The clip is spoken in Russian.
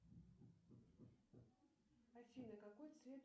афина какой цвет